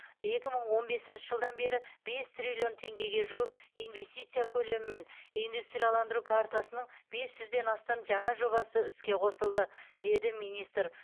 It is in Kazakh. екі мың он бесінші жылдан бері бес триллион теңгеге жуық инвестиция көлемімен индустрияландыру картасының бес жүзден астам жаңа жобасы іске қосылды деді министр